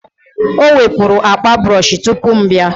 o wepụrụ akpa brọsh tupu m abịa